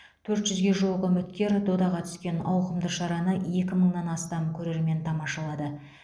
төрт жүзге жуық үміткер додаға түскен ауқымды шараны екі мыңнан астам көрермен тамашалады